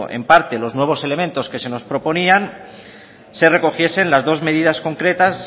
en parte los nuevos elementos que se nos proponían se recogiesen las dos medidas concretas